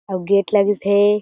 अउ गेट लगिस हें।